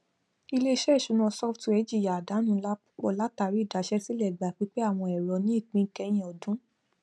iléisé ìṣúná software jìyà àdánù ńlá púpọ látàrí idaṣẹsílẹ ìgbà pípẹ àwọn ẹrọ ni ìpín ìkẹyìn ọdún